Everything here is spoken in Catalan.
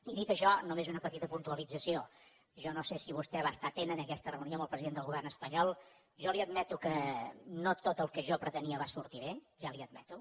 i dit això només una petita puntualització jo no sé si vostè va estar atent a aquesta reunió amb el president del govern espanyol jo li admeto que no tot el que jo pretenia va sortir bé ja li ho admeto